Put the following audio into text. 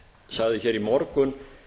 sagði hér í morgun